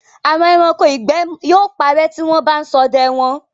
Àwọn ẹranko ìgbẹ́ yóò parẹ́ tí wọ́n bá ń ṣọdẹ wọn.